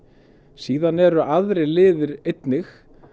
síðan eru aðrir liðir einnig